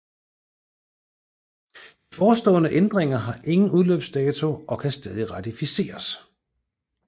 Den foreslåede ændringer har ingen udløbsdato og kan stadig ratificeres